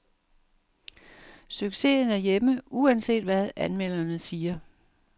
Succesen er hjemme, uanset hvad anmelderne siger.